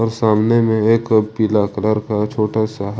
सामने में एक पीला कलर का छोटा सा--